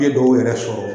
N ye dɔw yɛrɛ sɔrɔ